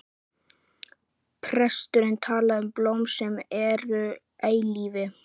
Presturinn talaði um blóm sem væru eilíf.